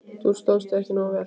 Þú stóðst þig ekki nógu vel.